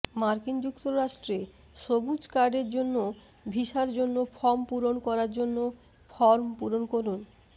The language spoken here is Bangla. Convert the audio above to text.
মার্কিন যুক্তরাষ্ট্রে সবুজ কার্ডের জন্য ভিসার জন্য ফর্ম পূরণ করার জন্য ফর্ম পূরণ করুন